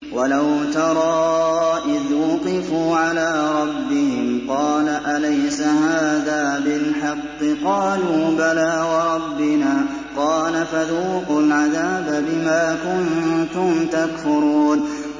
وَلَوْ تَرَىٰ إِذْ وُقِفُوا عَلَىٰ رَبِّهِمْ ۚ قَالَ أَلَيْسَ هَٰذَا بِالْحَقِّ ۚ قَالُوا بَلَىٰ وَرَبِّنَا ۚ قَالَ فَذُوقُوا الْعَذَابَ بِمَا كُنتُمْ تَكْفُرُونَ